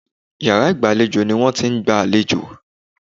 Yàrá ìgbàlejò ni wọ́n ti ń gba àlejò.